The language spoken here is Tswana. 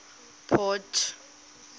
port